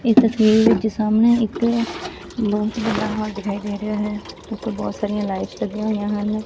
ਇਸ ਤਸਵੀਰ ਵਿੱਚ ਸਾਹਮਣੇ ਇਕ ਬਹੁਤ ਵੱਡਾ ਹਾਲ ਦਿਖਾਈ ਦੇ ਰਿਹਾ ਹੈ ਬਹੁਤ ਸਾਰੀਆਂ ਲਾਈਟਸ ਲੱਗੀਆਂ ਹੋਈਆਂ ਹਨ।